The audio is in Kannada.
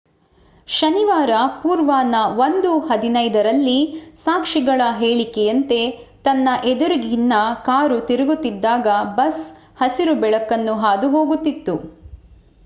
ಶನಿವಾರ ಪೂರ್ವಾಹ್ನ 1:15 ರಲ್ಲಿ ಸಾಕ್ಷಿಗಳ ಹೇಳಿಕೆಯಂತೆ ತನ್ನ ಎದುರಿನಿಂದ ಕಾರು ತಿರುಗುತ್ತಿದ್ದಾಗ ಬಸ್ ಹಸಿರು ಬೆಳಕನ್ನು ಹಾದು ಹೋಗುತ್ತಿತ್ತು